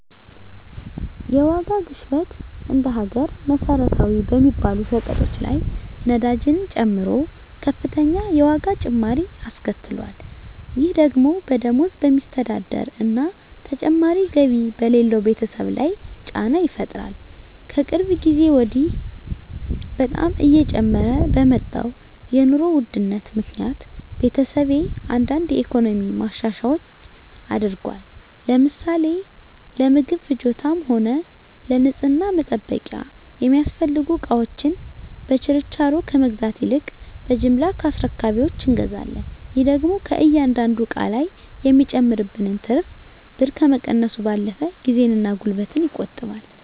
የዋጋ ግሽበት እንደ ሀገር መሰረታዊ በሚባሉ ሸቀጦች ላይ ነዳጅን ጨምሮ ከፍተኛ የዋጋ ጭማሪ አስከትሏል። ይህ ደግሞ በደሞዝ በሚስተዳደር እና ተጨማሪ ገቢ በሌለው ቤተሰብ ላይ ጫና ይፈጥራል። ከቅርብ ጊዜ በኃላ በጣም እየጨመረ በመጣው የኑሮ ውድነት ምክኒያት ቤተሰቤ አንዳንድ የኢኮኖሚ ማሻሻያዎች አድርጓል። ለምሳሌ ለምግብ ፍጆታም ሆነ ለንፅህና መጠበቂያ የሚያስፈልጉ እቃወችን በችርቻሮ ከመግዛት ይልቅ በጅምላ ከአስረካቢወች እንገዛለን። ይህ ደግሞ ከእያንዳንዱ እቃ ላይ የሚጨመርብንን ትርፍ ብር ከመቀነሱም ባለፈ ጊዜን እና ጉልበትን ይቆጥባል።